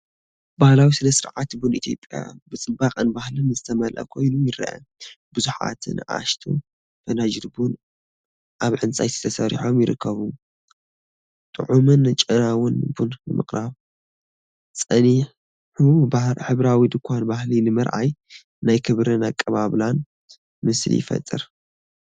ባህላዊ ስነ-ስርዓት ቡን ኢትዮጵያ ብጽባቐን ባህልን ዝተመልአ ኮይኑ ይረአ። ብዙሓት ንኣሽቱ ፈናጅል ቡን ኣብ ዕንጨይቲ ተሰሪዖም ይርከቡ፣ ጥዑምን ጨናውን ቡን ንምቕራብ። ጸኒሑ ሕብራዊ ድኳን ባህሊ ብምርኣይ ናይ ክብርን ኣቀባብላን ምስሊ ይፈጥር።